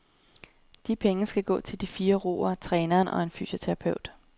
De penge skal gå til de fire roere, træneren og en fysioterapeut.